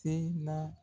Se na